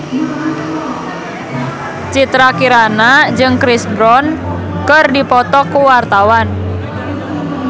Citra Kirana jeung Chris Brown keur dipoto ku wartawan